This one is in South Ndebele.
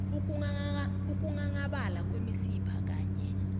ukunghanghabala kwemisipha kanye